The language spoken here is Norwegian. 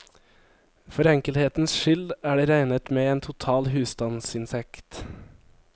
For enkelhetens skyld er det regnet med en total husstandsinntekt.